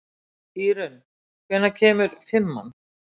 Írunn, hvenær kemur fimman?